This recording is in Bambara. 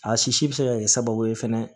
A sisi bɛ se ka kɛ sababu ye fɛnɛ